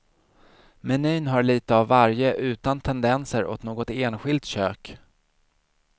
Menyn har lite av varje utan tendenser åt något enskilt kök.